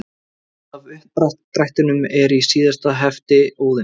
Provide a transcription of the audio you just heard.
Mynd af uppdrættinum er í síðasta hefti Óðins.